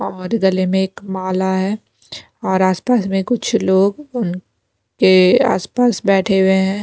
और गले में एक माला है और आसपास में कुछ लोग उन के आसपास बैठे हुए हैं।